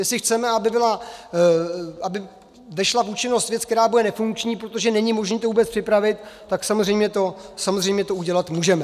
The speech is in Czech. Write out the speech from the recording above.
Jestli chceme, aby vešla v účinnost věc, která bude nefunkční, protože není možné to vůbec připravit, tak samozřejmě to udělat můžeme.